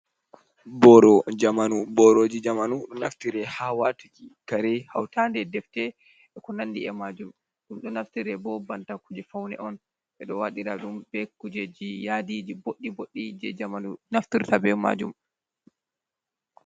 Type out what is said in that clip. Booro jamanu, boorooji jamanu, ɗo naftire haa waatuki kare, hawtaade defte, e ko nandi e maajum, ɗum ɗo naftire bo banta kuuje fawne on. Ɓe ɗo waɗira ɗum be kuujeji yaadiiji booɗɗi-booɗɗi je jamanu naftirta be maajum.